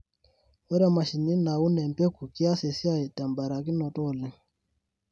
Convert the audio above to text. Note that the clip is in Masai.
Ore mashini naun empeku kias esiai tembarakinoto oleng.